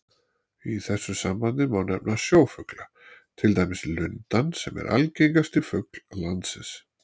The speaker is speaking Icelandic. Í þessu sambandi má nefna sjófugla, til dæmis lundann sem er algengasti fugl landsins.